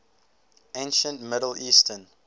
ancient middle eastern